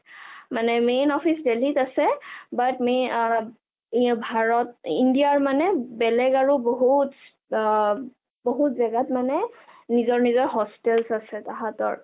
মানে main office দিল্লীত আছে but may ভাৰত india ৰ মানে বেলেগ আৰু বহুত বহুত জেগাত মানে নিজৰ নিজৰ hostel আছে তাঁহাতৰ